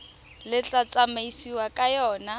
le tla tsamaisiwang ka yona